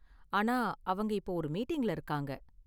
ஆனா, அவங்க இப்போ ஒரு மீட்டிங்ல இருக்காங்க.